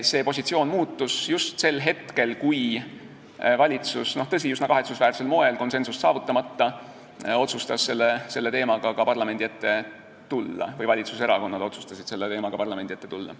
See positsioon muutus just sel hetkel, kui valitsus, tõsi, üsna kahetsusväärsel moel konsensust saavutamata, otsustas selle teemaga parlamendi ette tulla või valitsuserakonnad otsustasid selle teemaga parlamendi ette tulla.